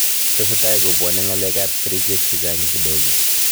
Tesetai kubwanei ngalekap kerichek chechang kidogo